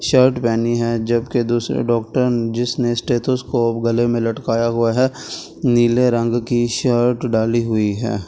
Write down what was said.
Shirt पहनी है जबकि दूसरे डॉक्ट जिसने गले में स्टेथोस्कोप गले में लटकाया हुआ है नीले रंग की शर्ट डाली हुई है ।